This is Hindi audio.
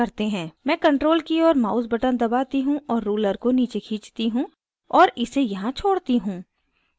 मैं ctrl की और mouse button दबाती हूँ और ruler को नीचे खींचती हूँ और इसे यहाँ छोड़ती हूँ